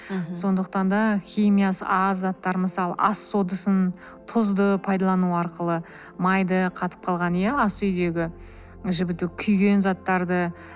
сондықтан да химиясы аз заттар мысалы ас содасын тұзды пайдалану арқылы майды қатып қалган иә ас үйдегі жібіту күйген заттарды